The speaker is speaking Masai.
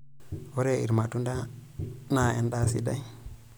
Ore ilmatunda naa endaa sidai.